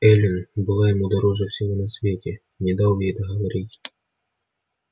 эллин была ему дороже всего на свете не дал ей договорить